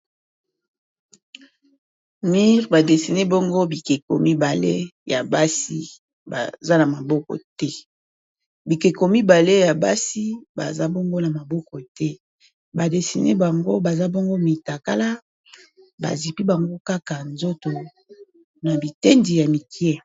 Mur ba dessiné bongo bikeko mibale ya basi baza na maboko te, bikeko mibale ya basi baza bongo na maboko te ba desiné bango baza bongo mitakala bazipi bango kaka nzoto na bitendi ya mikie.